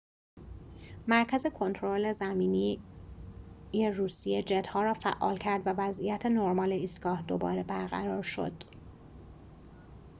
مرکز کنترل زمینی روسیه جت‌ها را فعال کرد و وضعیت نرمال ایستگاه دوباره برقرار شد